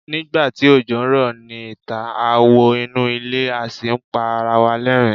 nigba ti ojo n rọ ni ita, a wo inu ile a sì n pa ara wa l'ẹrin